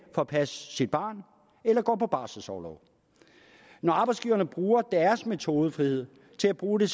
at passe sit barn eller går på barselsorlov når arbejdsgiverne bruger deres metodefrihed til at bruge det